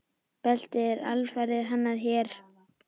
Beltið er alfarið hannað hér.